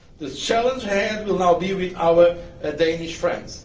follow. The challenge ahead will now be with our Danish